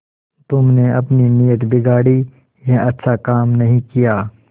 तुमने अपनी नीयत बिगाड़ी यह अच्छा काम नहीं किया